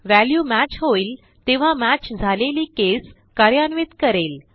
value match होईल तेव्हा match झालेली केस कार्यान्वित करेल